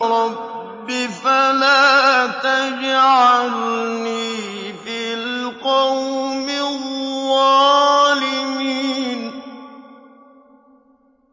رَبِّ فَلَا تَجْعَلْنِي فِي الْقَوْمِ الظَّالِمِينَ